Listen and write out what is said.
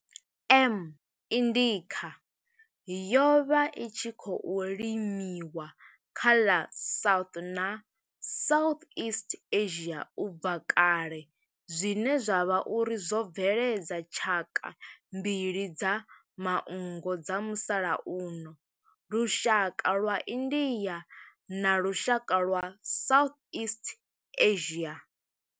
M. indica yo vha i tshi khou limiwa kha ḽa South na Southeast Asia ubva kale zwine zwa vha uri zwo bveledza tshaka mbili dza manngo dza musalauno lushaka lwa India na lushaka lwa Southeast Asia.